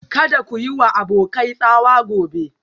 Kada ku yi wa abokai tsawa gobe